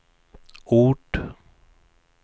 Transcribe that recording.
ort